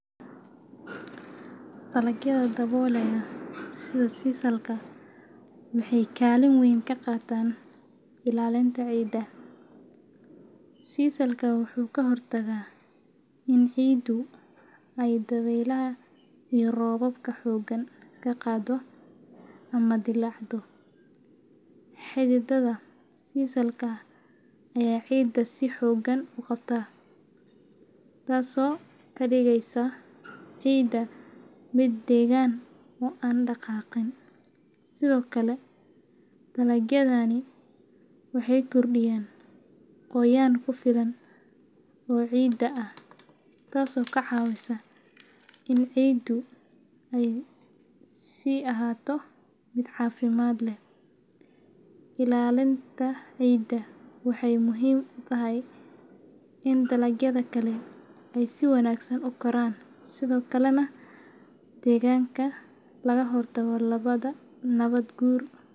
Dalagyada daboolaya sida sisalka waxay kaalin weyn ka qaataan ilaalinta ciidda. Sisalku wuxuu ka hortagaa in ciiddu ay dabaylaha iyo roobabka xooggan ka qaado ama dillaacdo. Xididdada sisalka ayaa ciidda si xooggan u qabta, taasoo ka dhigaysa ciidda mid deggan oo aan dhaqaaqin. Sidoo kale, dalagyadani waxay kordhiyaan qoyaan ku filan oo ciidda ah, taasoo ka caawisa in ciiddu ay sii ahaato mid caafimaad leh. Ilaalintan ciidda waxay muhiim u tahay in dalagyada kale ay si wanaagsan u koraan, sidoo kalena deegaanka laga hortago nabaad guur.